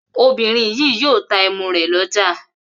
Obìnrin yìí yóò ta ẹmu rẹ̀ lọ́jà.